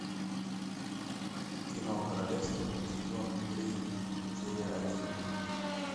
кино королевство сезон три серия один